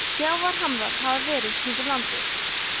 sjávarhamrar hafa verið kringum landið